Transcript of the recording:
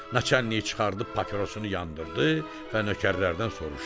Naçallnik çıxardıb papirosunu yandırdı və nökərlərdən soruşdu: